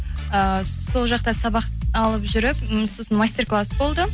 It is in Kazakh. э сол жақта сабақ алып жүріп м сосын мастер класс болды